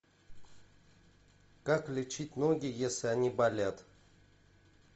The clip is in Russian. как лечить ноги если они болят